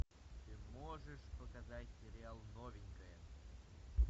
ты можешь показать сериал новенькая